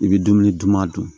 I bɛ dumuni duman dun